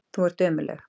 Þú ert ömurleg.